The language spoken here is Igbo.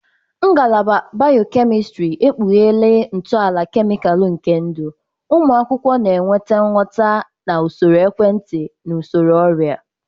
Ngalaba biokemistiri ekpughere ntọala kemịkalụ nke ndụ, ụmụ akwụkwọ na-enweta nghọta na usoro ekwentị na usoro ọrịa.